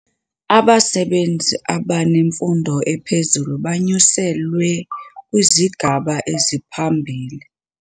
Abasebenzi abanemfundo ephezulu banyuselwe kwisigaba esiphambili.